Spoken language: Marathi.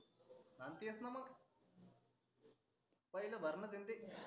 अन तेच णा मग पहिल भरण जनतेतनीच आहे.